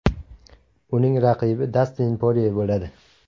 Uning raqibi Dastin Porye bo‘ladi.